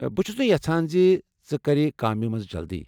بہٕ چھس نہٕ یژھان ژٕ کر کامہِ مَنٛز جلدی۔